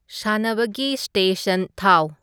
ꯁꯥꯅꯕꯒꯤ station ꯊꯥꯎ